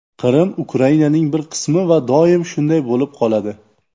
Qrim Ukrainaning bir qismi va doim shunday bo‘lib qoladi.